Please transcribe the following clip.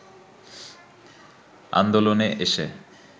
আন্দোলনে এসে